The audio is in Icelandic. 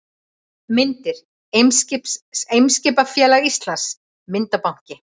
Myndir: Eimskipafélag Íslands- Myndabanki.